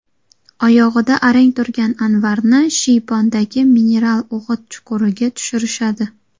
Oyog‘ida arang turgan Anvarni shiypondagi mineral o‘g‘it chuquriga tushirishadi.